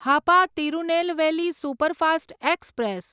Hapa Tirunelveli superfast express